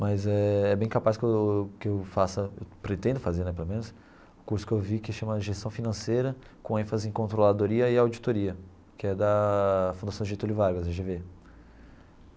Mas é é bem capaz que eu que eu faça, pretendo fazer né pelo menos, o curso que eu vi que chama Gestão Financeira com ênfase em Controladoria e Auditoria, que é da Fundação Getúlio Vargas, a Gê Vê.